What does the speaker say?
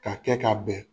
K'a kɛ ka bɛn